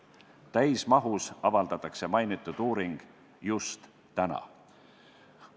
Täismahus avaldatakse mainitud uuring just täna.